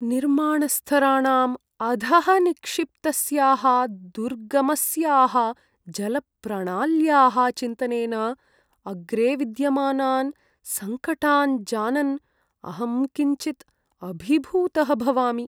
निर्माणस्तराणाम् अधः निक्षिप्तस्याः दुर्गमस्याः जलप्रणाल्याः चिन्तनेन, अग्रे विद्यमानान् सङ्कटान् जानन् अहं किञ्चित् अभिभूतः भवामि।